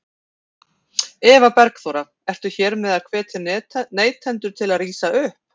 Eva Bergþóra: Ertu hér með að hvetja neytendur til að rísa upp?